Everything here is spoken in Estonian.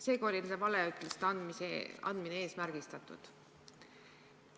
Seega oli see valeütluste andmine eesmärgistatud.